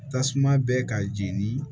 Tasuma bɛ ka jeni